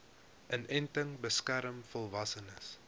inenting beskerm volwassenes